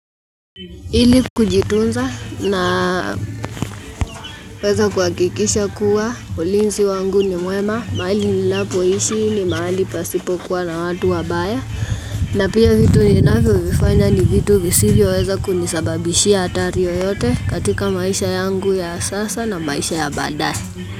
Ili kujitunza na naweza kuhakikisha kuwa ulinzi wangu ni mwema. Mahali ninapoishi ni mahali pasipokuwa na watu wabaya. Na pia vitu ninavyovifanya ni vitu visivyoweza kunisababishi hatari yoyote katika maisha yangu ya sasa na maisha ya baadae.